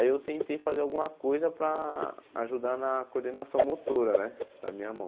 Aí eu tentei fazer alguma coisa para ajudar na coordenação motora né da minha mão.